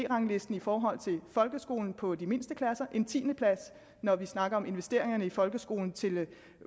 ranglisten i forhold til folkeskolen på de mindste klasser en tiende plads når vi snakker om investeringer i folkeskolen til